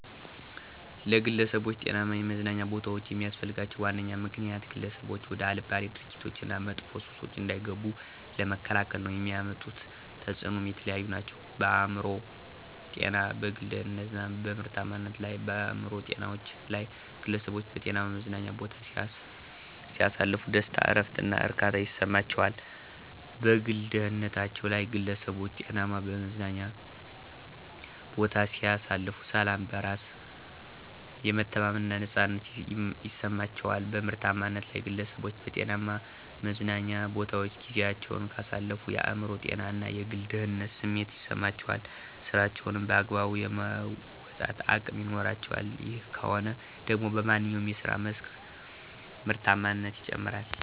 ለግለሠቦች ጤናማ የመዝናኛ ቦታዎች የሚስፈልጋቸው ዋነኛ ምክንያት፦ ግለሠቦች ወደ አልባሌ ድርጊቶች እና መጥፎ ሱሶች እንዳይገቡ ለመከላከል ነው። የሚያመጡት ተፅኖም የተለያዩ ናቸው፦ በአእምሮ ጤና፣ በግል ደህንነት እና በምርታማነት ላይ። -በአእምሮ ጤናቸው ላይ፦ ግለሠቦች በጤናማ መዝናኛ ቦታ ሲያሳልፉ ደስታ፣ እረፍት እና እርካታ ይሠማቸዋል። -በግል ደህንነታቸ ላይ ግለሠቦች ጤናማ መዝናኛ ቦታ ሲያሳልፉ፦ ሠላም፣ በራስ የመተማመን እና ነፃነት ይማቸዋል። -በምርታማነት ላይ፦ ግለሠቦች በጤናማ መዝናኞ ቦታወች ጊዚያቸውን ካሳለፉ የአእምሮ ጤና እና የግል ደህንነት ስሜት ይሠማቸዋል ስራቸውንም በአግባቡ የመወጣት አቅም ይኖራቸዋል። ይህ ከሆነ ደግሞ በማንኛው የስራ መስክ ምርታማነት ይጨምራል።